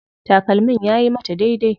Takalmin yayi mata daidai.